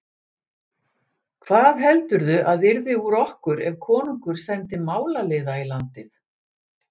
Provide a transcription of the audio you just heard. Hvað heldurðu að yrði úr okkur ef konungur sendi málaliða í landið?